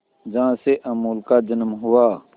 जहां से अमूल का जन्म हुआ